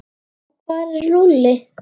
Og hvar er Lúlli?